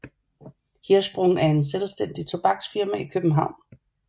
Hirschsprung et selvstændigt tobaksfirma i København